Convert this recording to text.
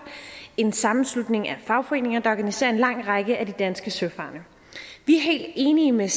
en sammenslutning af fagforeninger der organiserer en lang række af de danske søfarende vi er helt enige med